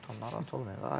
Rahatam, narahat olmayın.